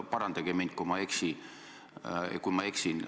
Parandage mind, kui ma eksin.